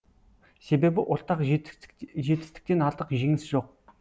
себебі ортақ жетістіктен артық жеңіс жоқ